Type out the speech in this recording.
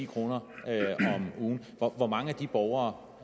høre hvor mange borgere